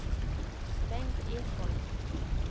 Bengt Ekholm